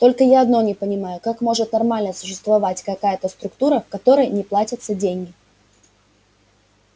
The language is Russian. только я одно не понимаю как может нормально существовать какая-то структура в которой не платятся деньги